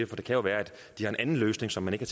det kan jo være at de har en anden løsning som man ikke